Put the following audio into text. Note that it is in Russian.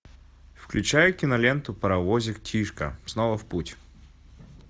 включай киноленту паровозик тишка снова в путь